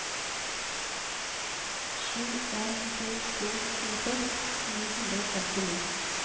sju en to to tjueseks ni hundre og femtini